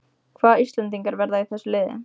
Hvaða íslendingar verða í þessu liði?